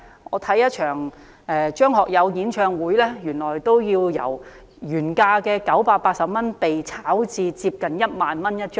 我欣賞一場張學友的演唱會，尾場門票由原價980元被炒至接近 10,000 元一張。